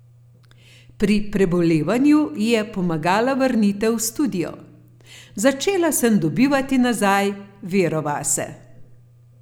Pri prebolevanju ji je pomagala vrnitev v studio: "Začela sem dobivati nazaj vero vase.